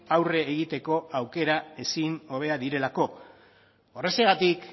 aurre egiteko aukera ezin hobeak direlako horrexegatik